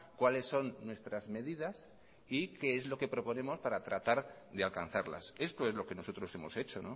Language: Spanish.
cuáles son nuestras medidas y qué es lo que proponemos para tratar de alcanzarlas esto es lo que nosotros hemos hecho